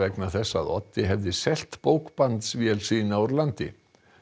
vegna þess að Oddi hefði selt sína úr landi